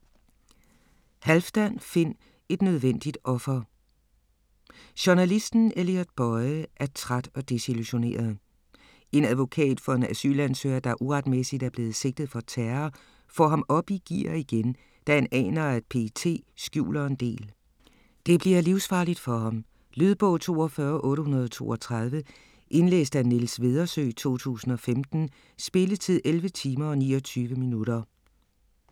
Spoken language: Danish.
Halfdan, Finn: Et nødvendigt offer Journalisten Elliot Boye er træt og desillusioneret. En advokat for en asylansøger, der uretmæssigt er blevet sigtet for terror, får ham op i gear igen, da han aner, at PET skjuler en del. Det bliver livsfarligt for ham. Lydbog 42832 Indlæst af Niels Vedersø, 2015. Spilletid: 11 timer, 29 minutter.